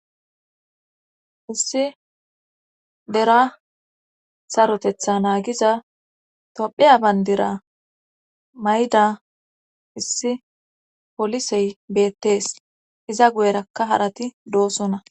Issi dera sarotetha naagiza tophiya bandira mayda issi polisey beettees iza guyerakka harati doosona.